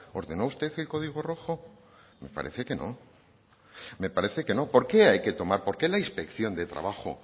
ordenó usted el código rojo parece que no me parece que no por qué hay que tomar por qué la inspección de trabajo